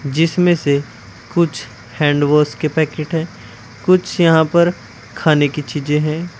जिसमें से कुछ हैंड वॉश की पैकेट है कुछ यहां पर खाने की चीजे हैं।